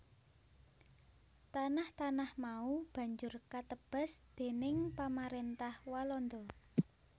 Tanah tanah mau banjur katebas déning Pamaréntah Walanda